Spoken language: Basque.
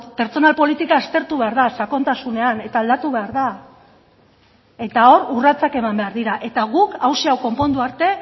pertsonal politika aztertu behar da sakontasunean eta aldatu behar da eta hor urratsak eman behar dira eta guk hauxe hau konpondu arte